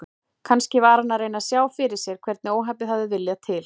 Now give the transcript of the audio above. Kannski var hann að reyna að sjá fyrir sér hvernig óhappið hafði viljað til.